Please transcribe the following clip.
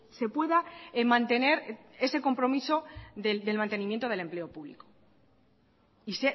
se pueda mantener ese compromiso del mantenimiento del empleo público y